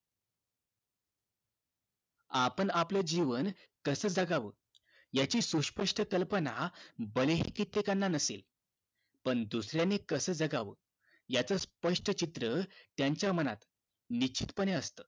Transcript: आपण आपले जीवन कास जगावं याची सुस्पष्ट कल्पना भले हि कित्येकांना नसेल पण दुसर्यांनी कस जगावं याच स्पष्ट चित्र त्यांच्या मनात निश्चित पने असत